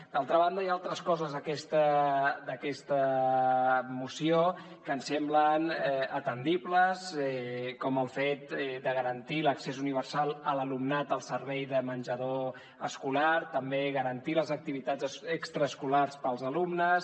d’altra banda hi ha altres coses d’aquesta moció que ens semblen atendibles com el fet de garantir l’accés universal a l’alumnat al servei de menjador escolar també garantir les activitats extraescolars per als alumnes